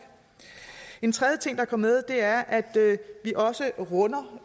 en tredje ting der kom med er at vi også runder